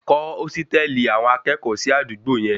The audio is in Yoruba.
Kọ́ ósítẹ̀lì àwọn akẹ́kọ̀ọ́ sí àdúgbò yẹn